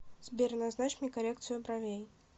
сбер назначь мне коррекцию бровей